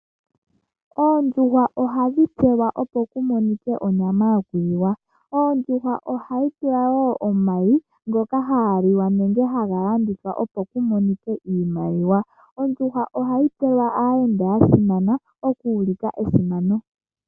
Oondjuhwa ohadhi tselwa opo kumonikwe onyama yokuliwa, ondjuhwa ohayi vala woo omayi ngoka haga liwa nenge haga landithwa opo kumonikwe iimaliwa. Ondjuhwa ohayi tselelwa aayenda yasimana opo kuulikwe esimano.